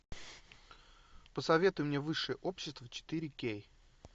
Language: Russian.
посоветуй мне высшее общество четыре кей